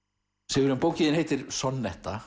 Sigurjón bókin þín heitir